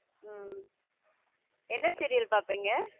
உம் என்ன serial பாப்பிங்க